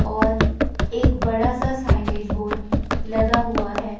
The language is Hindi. और एक बड़ा सा साइनेज बोड लगा हुआ है।